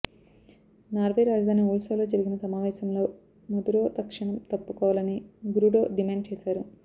Norway రాజధాని ఓల్సోలో జరిగిన సమావేశంలో మదురొ తక్షణం తప్పుకోవాలని గురుడొ డిమాండ్ చేశారు